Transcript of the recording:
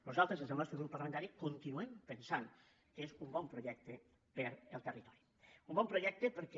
nosaltres des del nostre grup parlamentari continu·em pensant que és un bon projecte per al territori un bon projecte perquè